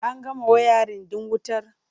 An gama wayarin ɗin wutar?